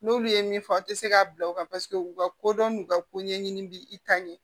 N'olu ye min fɔ aw tɛ se k'a bila u kan paseke u ka kodɔn n'u ka ko ɲɛɲini bɛ i ta ɲɛ